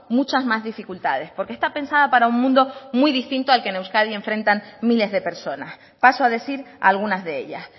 muchas más dificultades porque está pensada para un mundo muy distinto al que en euskadi enfrentan miles de personas paso a decir algunas de ellas